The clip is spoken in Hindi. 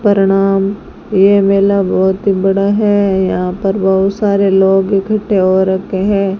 प्रणाम यह मेला बहुत ही बड़ा है यहां पर बहुत सारे लोग इकट्ठे हो रखे हैं।